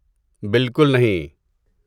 بالکل نہیں!